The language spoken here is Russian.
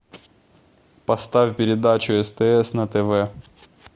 поставь передачу стс на тв